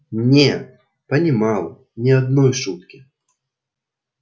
не понимал ни одной шутки